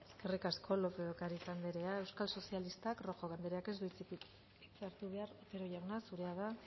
eskerrik asko lópez de ocariz andrea euskal sozialistak rojo andreak ez du hitza hartu behar otero jauna zurea da